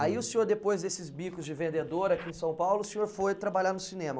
Aí o senhor, depois desses bicos de vendedor aqui em São Paulo, o senhor foi trabalhar no cinema?